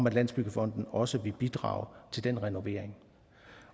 at landsbyggefonden også vil bidrage til den renovering